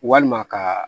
Walima ka